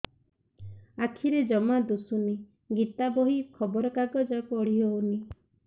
ଆଖିରେ ଜମା ଦୁଶୁନି ଗୀତା ବହି ଖବର କାଗଜ ପଢି ହଉନି